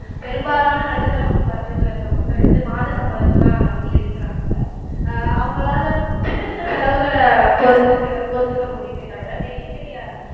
பெரும்பாலான நடுத்தர வர்க்கத்துல இருக்க மக்கள் வந்து மாத சம்பளத்தைதான் நம்பி இருக்குறாங்க அஹ் அவங்களால சின்னச் சின்ன செலவுகளை பொறுத்துக்கிட பொறுத்துக்க முடியுமே தவிர பெரிய பெரிய